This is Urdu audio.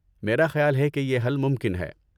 میرا خیال ہے کہ یہ حل ممکن ہے۔